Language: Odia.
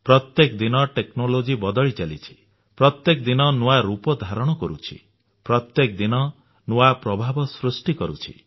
ପ୍ରତ୍ୟେକ ଦିନ ଟେକ୍ନୋଲୋଜି ନୂଆ ପ୍ରଭାବ ସୃଷ୍ଟି କରୁଛି